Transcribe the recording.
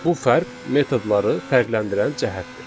Bu fərq metodları fərqləndirən cəhətdir.